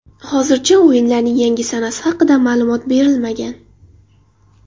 Hozircha o‘yinlarning yangi sanasi haqida ma’lumot berilmagan.